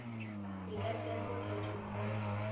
e ka tšea sephetho sa